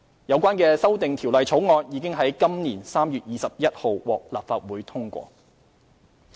有關的修訂條例草案已於今年3月21日獲立法會通過。